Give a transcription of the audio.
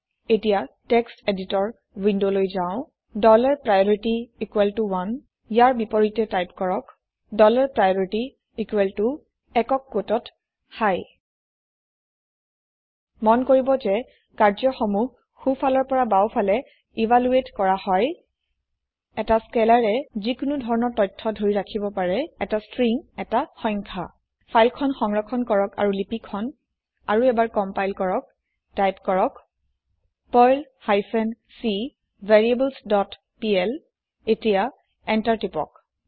এতিয়া টেক্সট এদিটৰ ৱিন্দোলৈ যাওঁ ডলাৰ প্ৰাইঅৰিটি ইকোৱেল ত oneৰ বিপৰীতে টাইপ কৰক ডলাৰ প্ৰাইঅৰিটি ইকোৱেল ত একক কোটত হাই মন কৰিব যে কাৰ্য্য সমূহ সোঁফালৰ পৰা বাওঁফালে ইভালোয়েট কৰা হয় এটা scalarয়ে যিকোনো ধৰণৰ তথ্য ধৰি ৰাখিব পাৰে এটা ষ্ট্ৰিং এটা সংখ্যা ফাইল খন সংৰক্ষণ কৰক আৰু লিপি খন আৰু এবাৰ কম্পাইল কৰক টাইপ কৰক Perl hyphen c variables dot PL এতিয়া এন্টাৰ প্ৰেছ কৰক